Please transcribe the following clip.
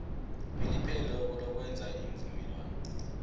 elipheleleko lokwenza iimvumelwano